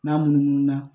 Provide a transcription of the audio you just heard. N'a munumunu na